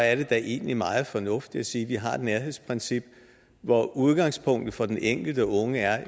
er det da egentlig meget fornuftigt at sige at vi har et nærhedsprincip hvor udgangspunktet for den enkelte unge er